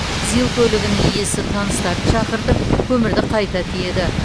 зил көлігінің иесі таныстарын шақыртып көмірді қайта тиеді